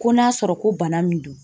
Ko n'a sɔrɔ ko bana min don